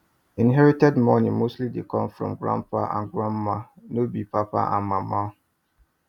inherited money mostly dey come from grandpa and grandma no be papa and mama